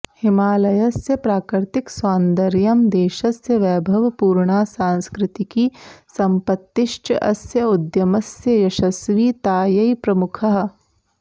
हिमालयस्य प्राकृतिकसौन्दर्यं देशस्य वैभवपूर्णा सांस्कृतिकी सम्पत्तिश्च अस्य उद्यमस्य यशस्वितायै प्रमुखाः